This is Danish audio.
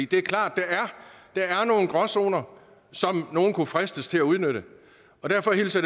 det er klart at der er nogle gråzoner som nogle kunne fristes til at udnytte derfor hilser